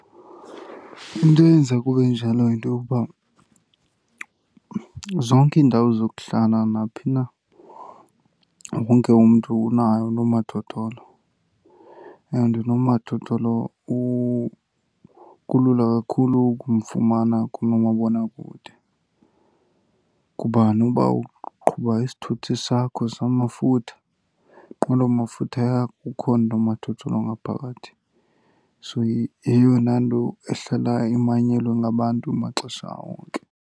Into eyenza kube enjalo yinto yokuba zonke iindawo zokuhlala naphi na, wonke umntu unaye unomathotholo and unomathotholo kulula kakhulu ukumfumana kunomabonakude. Kuba noba uqhuba isithuthi sakho samafutha, inqwelomafutha yakho, ukhona unomathotholo ngaphakathi. So yeyona nto ehlala imanyelwe ngabantu maxesha onke.